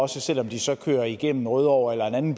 selv om de så kører igennem rødovre eller en anden